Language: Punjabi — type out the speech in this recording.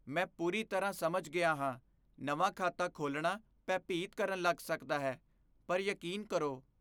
ਮੈਂ ਪੂਰੀ ਤਰ੍ਹਾਂ ਸਮਝ ਗਿਆ ਹਾਂ ਨਵਾਂ ਖਾਤਾ ਖੋਲ੍ਹਣਾ ਭੈ ਭੀਤ ਕਰਨ ਲੱਗ ਸਕਦਾ ਹੈ, ਪਰ ਯਕੀਨ ਕਰੋ,